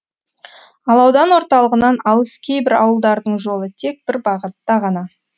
ал аудан орталығынан алыс кейбір ауылдардың жолы тек бір бағытта ғана